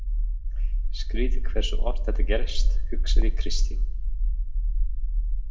Skrítið hversu oft þetta gerist, hugsaði Kristín.